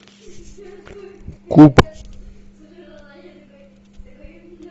куб